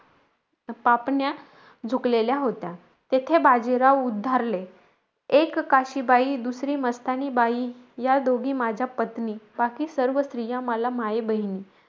पापण्या झुकलेल्या होत्या. तेथे बाजीराव उद्धारले. एक काशीबाई, दुसरी मस्तानीबाई, या दोन्ही माझ्या पत्नी. बाकी सर्व स्त्रिया मला माई-बहिणी.